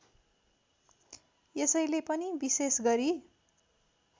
यसैले पनि विशेष गरी